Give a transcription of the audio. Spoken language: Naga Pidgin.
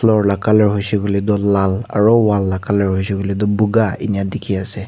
floor la colour hoishe koile toh lal aro wall la colour hoishe koile toh bukha eniya deki ase.